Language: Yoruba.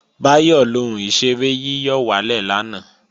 Báyọ̀ lo ohun ìṣeré yíyọ̀wálè lánàá